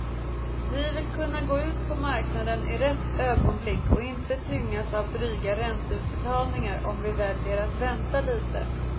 Vi vill kunna gå ut på marknaden i rätt ögonblick och inte tyngas av dryga ränteutbetalningar om vi väljer att vänta lite.